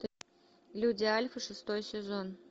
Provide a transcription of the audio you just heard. люди альфа шестой сезон